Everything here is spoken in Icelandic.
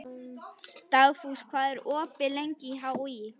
Dugfús, hvað er opið lengi í HÍ?